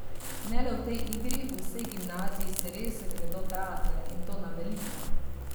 Ne le v tej igri, v vsej gimnaziji se res gredo teater, in to na veliko.